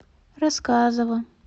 рассказова